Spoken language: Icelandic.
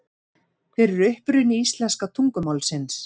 Hver er uppruni íslenska tungumálsins?